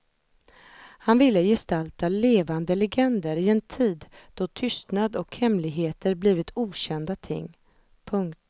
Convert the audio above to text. Han ville gestalta levande legender i en tid då tystnad och hemligheter blivit okända ting. punkt